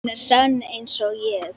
Hún er sönn einsog ég.